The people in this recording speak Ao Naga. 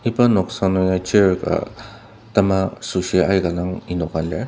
iba noksa nung ya chair ka tema süoshi aika dang enoka lir.